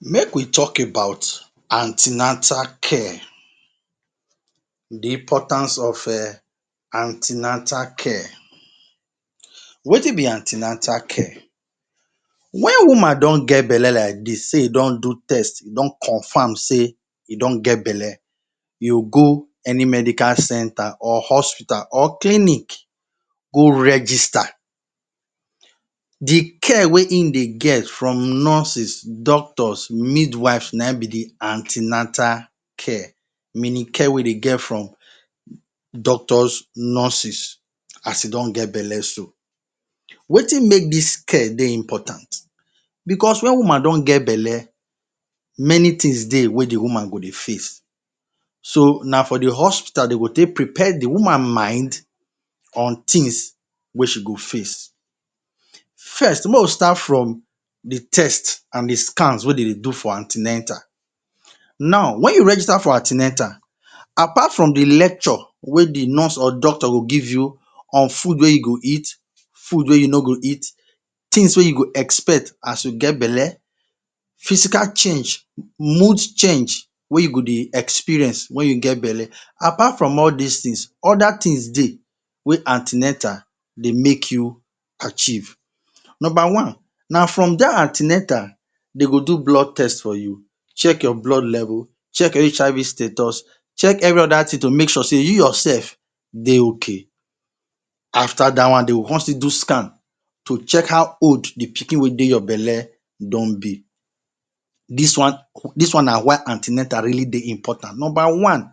Make we talk about an ten atal care—the importance of um an ten atal care. Wetin be an ten atal care? Wen woman don get belle like dis sey e don do test, e don confam sey e don get belle, you go any medical centre or hospital or clinic go register. The care wey ein dey get from nurses, doctors, midwives, na ein be the an ten atal care. Meaning care wey dey get from doctors, nurses, as e don get belle so. Wetin make dis care dey important? Becos wen woman don get belle, many tins dey wey the woman go dey face. So, na for the hospital de go take prepare the woman mind on tins wey she go face, First, make we start from the test an the scans wey de dey do for an ten atal. Now, wen you register for an ten atal, apart from the lecture wey the nurse or doctor go give you on food wey you go eat, food wey you no go eat, tins wey you go expect as you get belle, physical change, mood change wey you go dey experience wen you get belle, apart from all dis tins, other tins dey wey an ten atal dey make you achieve. Nomba one, na from dat an ten atal de go do blood test for you, check your blood level, check your HIV status, check every other tin to make sure sey you yoursef dey okay. After dat one, de go con still do scan to check how old the pikin wey dey your belle e don be. Dis one dis one na why an ten atal really dey important: Nomba one,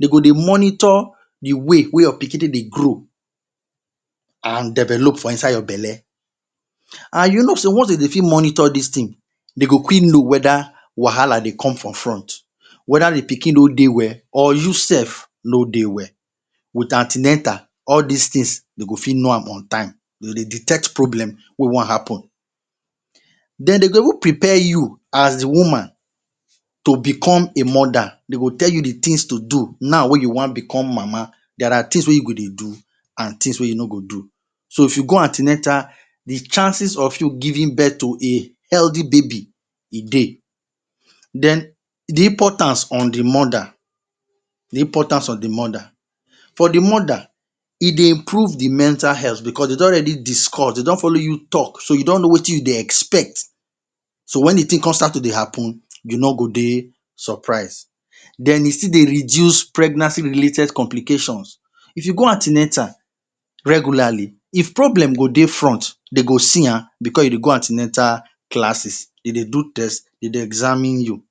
de go dey monitor the way wey your pikin take dey grow an develop for inside your belle. An you know sey once de dey fit monitor dis tin, de go quick know whether wahala dey come from front, whether the pikin no dey well, or you sef no dey well. With an ten atal, all dis tins, de go fit know am on time—de go dey detect problem wey wan happen. Then, de go even prepare you as the woman to become a mother. De go tell you the tins to do now wey you wan become mama. There are tins wey you go dey do, an tins wey you no go do. So, if you go an ten atal, the chances of you giving birth to a healthy baby, e dey. Then, the importance on the mother. The importance on the mother. For the mother, e dey improve the mental health becos de don already discuss, de don follow you talk, so you don know wetin you dey expect. So wen the tin con start to dey happen, you no go dey surprise. Then, e still dey reduce pregnancy related complications. If you go an ten atal regularly, if problem go dey front, de go see am becos you dey go an ten atal classes, de dey do test, de dey examine you.